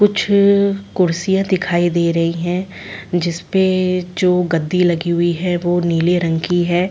कुछ कुर्सियाँ दिखाई दे रही है जिस पे जो गद्दी लगी हुई है ओ नीले रंग की है।